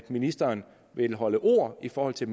ministeren vil holde ord i forhold til